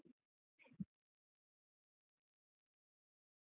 .